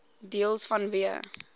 deels vanweë